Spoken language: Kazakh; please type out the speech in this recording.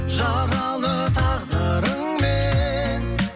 жаралы тағдырыңмен